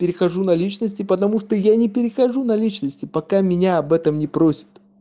перехожу на личности потому что я не перехожу на личности пока меня об этом не просят